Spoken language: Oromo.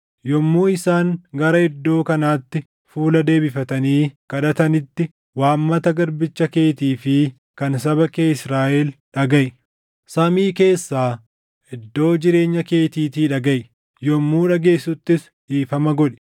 Yommuu isaan gara iddoo kanaatti fuula deebifatanii kadhatanitti waammata garbicha keetii fi kan saba kee Israaʼel dhagaʼi. Samii keessaa, iddoo jireenya keetiitii dhagaʼi; yommuu dhageessuttis dhiifama godhi.